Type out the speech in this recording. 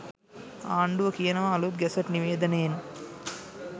ආණ්ඩුව කියනවා අලුත් ගැසට් නිවේදනයෙන්